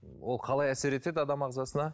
ол қалай әсер етеді адам ағзасына